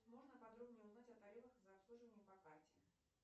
можно подробнее узнать о тарифах за обслуживание по карте